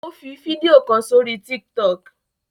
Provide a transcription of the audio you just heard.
O fí fídíò kán sórí tiktok